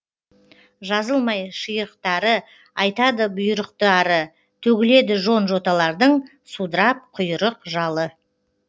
жазылмай шиырықтары айтады бұйырықты ары төгіледі жон жоталардың судырап құйырық жалы